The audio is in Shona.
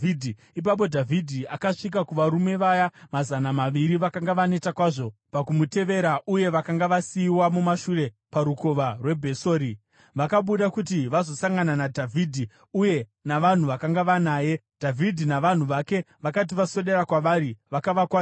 Ipapo Dhavhidhi akasvika kuvarume vaya mazana maviri vakanga vaneta kwazvo pakumutevera uye vakanga vasiyiwa mumashure parukova rweBhesori. Vakabuda kuti vazosangana naDhavhidhi uye navanhu vakanga vanaye. Dhavhidhi navanhu vake vakati vaswedera kwavari, vakavakwazisa.